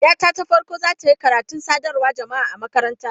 Yata ta farko za ta yi karatun sadarwar jama'a a makaranta.